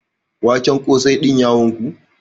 Waken ƙosai din ya wanku?